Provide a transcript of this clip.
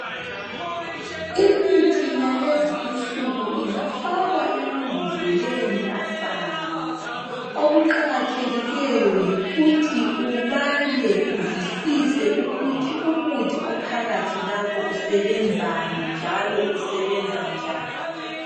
Imithi yalezi insuku ingafakwa emambodleleni afayo. Ukuqakathekileyo yikuthi ubale uzwisise ukuthi umuthi ophakathi lapho usebenzani njalo usebenza njani.